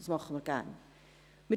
Wir werden es gerne tun.